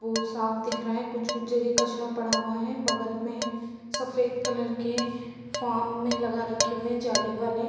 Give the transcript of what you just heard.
बहुत साफ दिख रहा है कुछ कुछ जगह कचरा पड़ा हुआ है बगल में सफेद कलर के फार्म में लगा रखे हुए हैं जाली वाले |